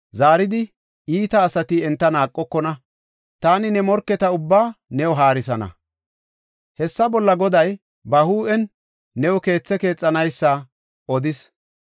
zaaridi iita asati enta naaqokona. Taani ne morketa ubbaa new haarsana. “ ‘Hessa bolla Goday ba huuphen new keethe keexanaysa odees.